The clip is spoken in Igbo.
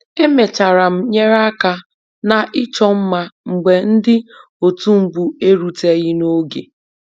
Emechara m nyere aka na ịchọ mma mgbe ndị otu mbụ eruteghi n'oge